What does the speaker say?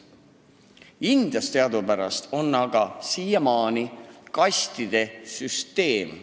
Indias teadupärast on siiamaani kastide süsteem.